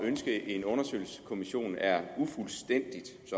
ønske en undersøgelseskommission er ufuldstændigt